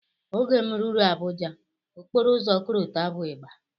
Oge m rụrụ Abuja, okporoụzọ korota bụ ịgba